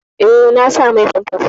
Eh, na sa mai famfas.